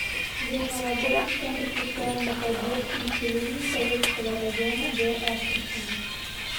время работы центр социальной поддержки населения советского района г астрахани